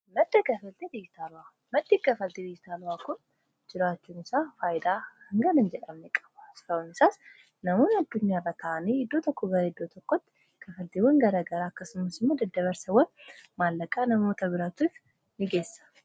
maddi kafaltii diytaala'a kun jiraachuun isaa faayidaa hangana jedhamne qaba sababni isaas namoon adduniyaa bata'anii hiddoo tokko gara iddoo tokkotti kafaltiiwwan garagaraa akkasumas immoo deddabarsewwan maallaqaa namoota biraatuuf in geessa